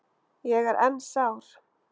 Ég er enn sár.